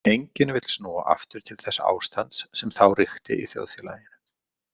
Enginn vill snúa aftur til þess ástands sem þá ríkti í þjóðfélaginu.